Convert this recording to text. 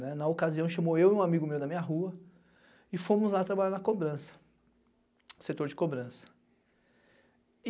Na ocasião chamou eu e um amigo meu da minha rua e fomos lá trabalhar na cobrança, setor de cobrança.